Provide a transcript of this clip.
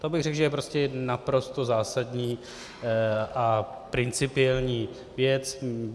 To bych řekl, že je prostě naprosto zásadní a principiální věc.